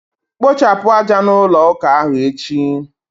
Kpochapụ aja n' ụlọ ụka ahụ echi!